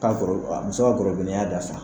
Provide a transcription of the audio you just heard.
Ka gorobinɛ ka muso gorobinɛya dafa